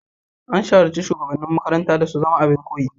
An shawarci shugabannin makarantar da su zama abin koyi.